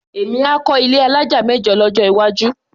Èmi á kọ́ ilé alájà mẹ́jọ lọ́jọ́ iwájú.